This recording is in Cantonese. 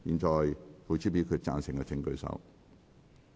贊成的請舉手。